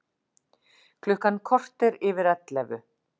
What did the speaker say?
Klukkan korter yfir ellefu